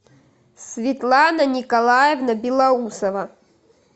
светлана николаевна белоусова